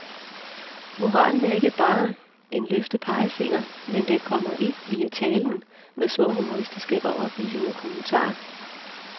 Moralen er ikke bare er en løftet pegefinger, men den kommer ind via talen med små humoristiske og oplysende kommentarer.